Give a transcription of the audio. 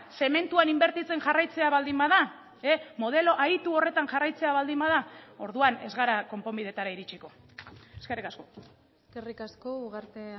zementuan inbertitzen jarraitzea baldin bada modelo aitu horretan jarraitzea baldin bada orduan ez gara konponbidetara iritsiko eskerrik asko eskerrik asko ugarte